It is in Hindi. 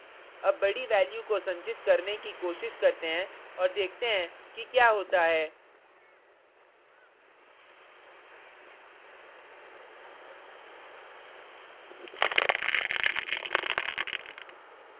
अब बडी value को संचित करने की कोशिश करते हैं और देखते हैं कि क्या होता है